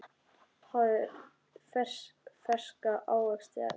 Hafið ferska ávexti efst.